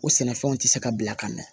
O sɛnɛfɛnw tɛ se ka bila ka mɛn